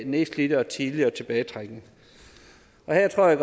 nedslidte og tidligere tilbagetrækning her tror jeg